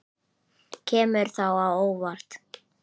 Kemur það á óvart?